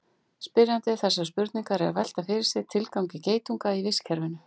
spyrjandi þessarar spurningar er að velta fyrir sér tilgangi geitunga í vistkerfinu